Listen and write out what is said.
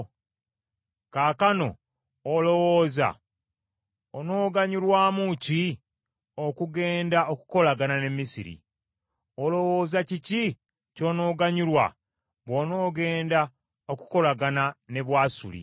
Kaakano olowooza onooganyulwamu ki okugenda okukolagana ne Misiri? Olowooza kiki ky’onoganyulwa bw’onogenda okukolagana ne Bwasuli?